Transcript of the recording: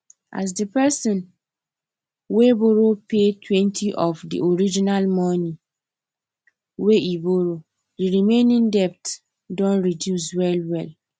as the person wey borrow paytwentyof the original money wey e borrow the remaining debt don reduce wellwell